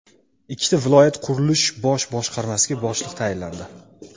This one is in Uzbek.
Ikkita viloyat qurilish bosh boshqarmasiga boshliq tayinlandi.